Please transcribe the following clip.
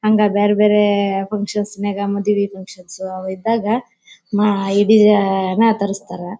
ಹಂಗ ಬೇರೆ ಬೇರೆ ಫಂಕ್ಷನ್ ನಾಗ ಮದುವೆ ಫಂಕ್ಷನ್ ಇದ್ದಾಗ ಇಡಿ ನಾ ತರಸ್ತರ.